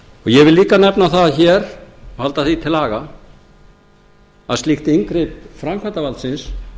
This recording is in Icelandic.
ég vil líka nefna það hér og halda því til haga að slíkt inngrip framkvæmdarvaldsins